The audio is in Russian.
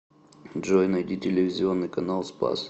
джой найди телевизионный канал спас